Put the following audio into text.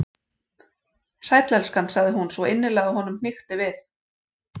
Sæll, elskan- sagði hún, svo innilega að honum hnykkti við.